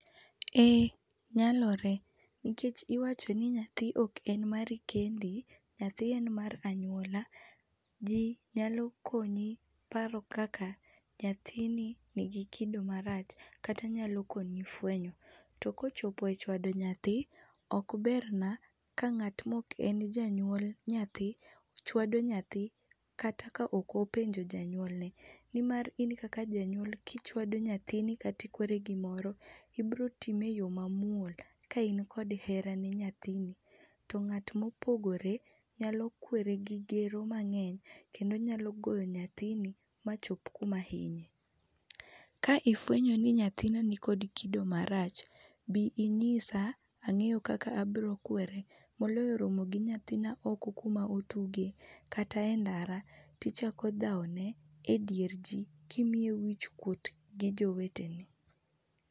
Eeh nyalore nikech iwachoni nyathi oken mari kendi nyathi en mar anyuola. Jii nyalo konyi kido kaka nyathini nigi paro marach kata nigi kido marach kat anyalo konyi fwenyo .To ka ochopo e chwado nyathi, ok berna ka ngatma oken janyuol nyathi chwado nyathi kata ka ok openjo janyuol ne nimar in kaka janyuol kichwado nyathini kata ikwere gimoro ibiro kwere e yoo mamuol ka in kod hera ne nyathini to ngata ma opogore nyalo kwere gi gero mangeny kendo nyalo goyo nyathini machop kuma hinye. Ka ifwenyo ni nyathina nikod kido marach, bi inyisa angeyo kaka abiro kwere moloyo romo gi nyathina oko kuma otuge kata e ndara tichako dhao ne e dier jii kimiye wich kuot gi jowetene